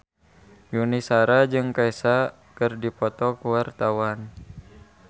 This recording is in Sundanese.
Yuni Shara jeung Kesha keur dipoto ku wartawan